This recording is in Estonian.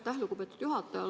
Aitäh, lugupeetud juhataja!